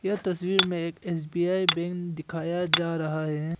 यह तस्वीर में एक एस_बी_आई बैंक दिखाया जा रहा है।